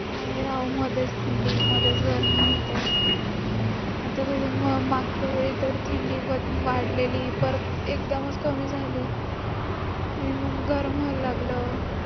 काय राव, मध्येच थंडी, मध्येच गर्मी होतंय. आता मागच्या वेळी तर थंडी मधून वाढलेली परत एकदमच कमी झाली. आणि मग गरम व्हायला लागलं.